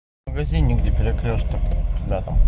в магазине где перекрёсток да там